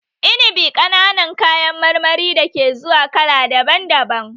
Inibi ƙananan kayan marmari da ke zuwa kala daban daban